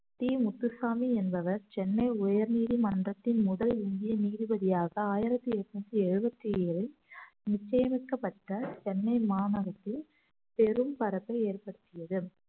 D Muthusamy என்பவர் சென்னை உயர் நீதிமன்றத்தின் முதல் இந்திய நீதிபதியாக ஆயிரத்தி எட்நூத்தி எழுவத்தி ஏழில் நிச்சயமிக்கப்பட்ட சென்னை மாநகரத்தில் பெரும் பரப்பை ஏற்படுத்தியது